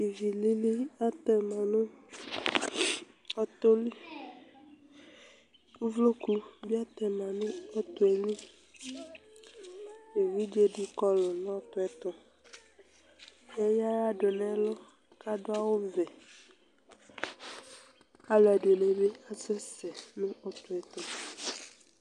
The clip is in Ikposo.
ivi lili atɛ ma nu ɔtɔ li, uvloku bi atɛ ma nu ɔtɔɛ li , evidze di kɔlu ɔtɔ yɛ tu, eya ava du nu ɛlu ku adu awu vɛ, Alu ɛdini bi asɛsɛ nu ɔtɔ yɛ tu